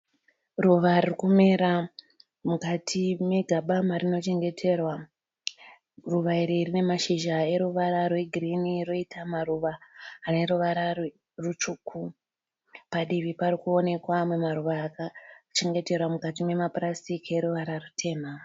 Ruva ririkumera mukati megaba marinochengeterwa. Ruva iri rine mazhizha eruvara rwegirini roita maruva aneruvara rutsvuku. Padivi parikuonekwa amwe maruva akachengeterwa mukati memapurasitiki eruvara rutema.